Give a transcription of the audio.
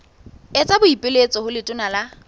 etsa boipiletso ho letona la